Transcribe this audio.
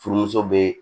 Furumuso bɛ